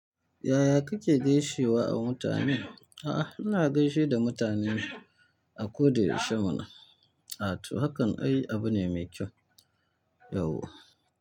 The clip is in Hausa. Yaya kake gaishewa a mutane? A'a, ina gaishe da mutane a koda yaushe mana. Ato, hakan ai abu ne mai kyau. Yauwa.